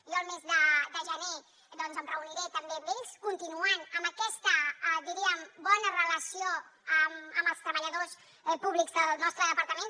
jo el mes de gener doncs em reuniré també amb ells continuant amb aquesta diríem bona relació amb els treballadors públics del nostre departament